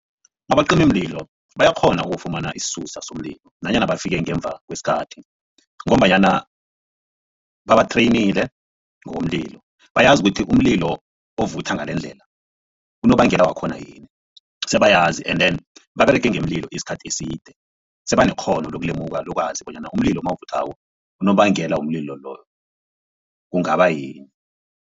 Abacimimlilo bayakghona ukufumana isisusa somlilo nanyana bafike ngemva kwesikhathi ngombanyana babathreyinile ngomlilo bayazi ukuthi umlilo ovutha ngalendlela unobangela wakhona yini sebayazi and then baberege ngemililo isikhathi eside sebanekghono lokulemuka lokwazi bonyana umlilo nawuvuthwako unobangela womlilo loyo kungaba yini.